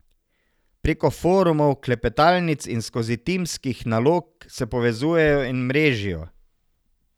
Preko forumov, klepetalnic in skozi timskih nalog se povezujejo in mrežijo.